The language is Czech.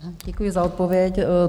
Děkuji za odpověď.